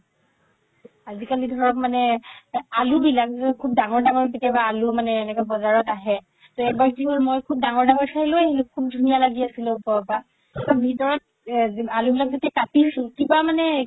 আজি কালি ধৰক মানে এই আলুবিলাক খুব ডাঙৰ ডাঙৰ কেতিয়াবা আলু মানে এনেকা বজাৰত আহে এবাৰ কি হ'ল খুব ডাঙৰ ডাঙৰ চাই মই লই আহিলো খুব ধুনীয়া লাগি আছিলে ওপৰৰ পৰা ভিতৰত এ আলু বিলাক যে কাতিছো কিবা মানে